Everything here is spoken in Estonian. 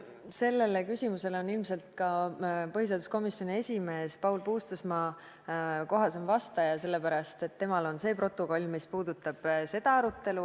Sellele küsimusele on ilmselt põhiseaduskomisjoni esimees Paul Puustusmaa kohasem vastaja, sest temal on see protokoll, mis puudutab seda arutelu.